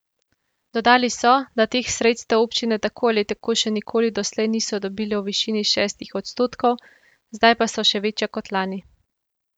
Dodali so, da teh sredstev občine tako ali tako še nikoli doslej niso dobile v višini šestih odstotkov, zdaj pa so še večja kot lani.